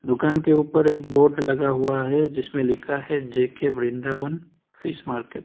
दुकान के ऊपर एक बोर्ड लगा हुआ है जिसमें लिखा हुआ है जे_के वृंदावन फिश मार्केट ।